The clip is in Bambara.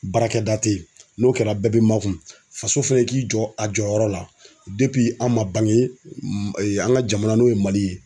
Baarakɛda te yen n'o kɛra bɛɛ bi makun faso fɛnɛ k'i jɔ a jɔyɔrɔ la depi an ma bange an ka jamana n'o ye mali ye